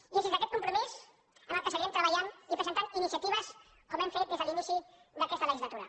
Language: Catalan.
i és dins d’aquest compromís en el qual seguirem treballant i presentant iniciatives com hem fet des de l’inici d’aquesta legislatura